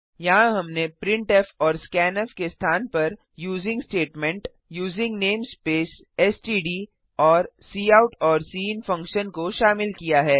यहाँ हमने प्रिंटफ और स्कैन्फ के स्थान पर using statement using namespace S T D और काउट और सिन फंक्शन को शामिल किया है